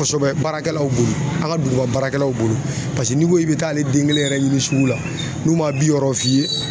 Kosɛbɛ baarakɛlaw bolo an ka duguba baarakɛlaw bolo n'i ko k'i bɛ taa ale den kelen yɛrɛ ɲini sugu la n'u ma bi wɔɔrɔ f'i ye